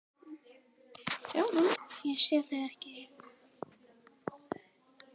Ég sé þig ekki.